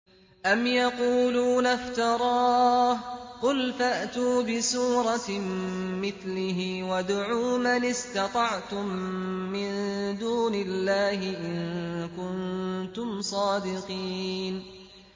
أَمْ يَقُولُونَ افْتَرَاهُ ۖ قُلْ فَأْتُوا بِسُورَةٍ مِّثْلِهِ وَادْعُوا مَنِ اسْتَطَعْتُم مِّن دُونِ اللَّهِ إِن كُنتُمْ صَادِقِينَ